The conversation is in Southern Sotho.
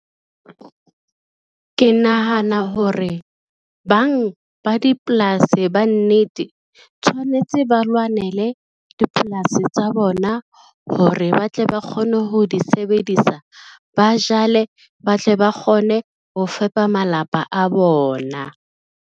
Ke nahana hore bang ba dipolasi bannete, tshwanetse ba lwanele dipolasi tsa bona hore ba tle ba kgone ho di sebedisa, ba jale ba tle ba kgone ho fepa malapa a bona.